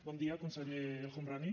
bon dia conseller el homrani